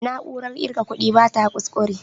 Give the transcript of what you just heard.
Na'urar ƙirga kuɗi bata ƙusƙure